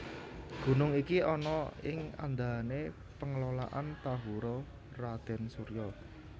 Gunung iki ana ing andahané Pengelolaan Tahura Raden Soeryo